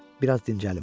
Bir az dincəlim.